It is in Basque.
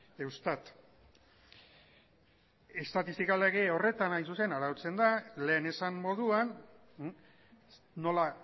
eustat estatistika lege horretan arautzen da lehen esan moduan nola